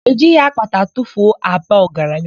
E jighi akpata atufuo aba ọgaranya.